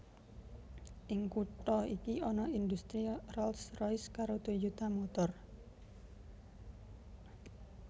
Ing kutha iki ana indhustri Rolls Royce karo Toyota Motor